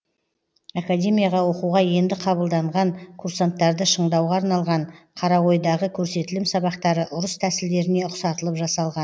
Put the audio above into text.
академияға оқуға енді қабылданған курсанттарды шыңдауға арналған қаройдағы көрсетілім сабақтары ұрыс тәсілдеріне ұқсатылып жасалған